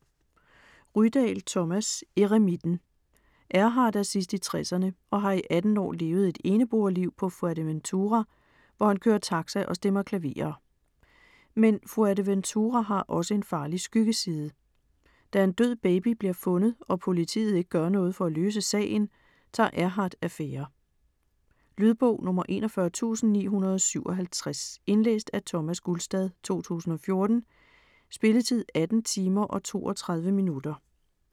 Rydahl, Thomas: Eremitten Erhard er sidst i tresserne og har i 18 år levet et eneboerliv på Fuerteventura, hvor han kører taxa og stemmer klaverer. Men Fuerteventura har også en farlig skyggeside. Da en død baby bliver fundet og politiet ikke gør noget for at løse sagen, tager Erhard affære. Lydbog 41957 Indlæst af Thomas Gulstad, 2014. Spilletid: 18 timer, 32 minutter.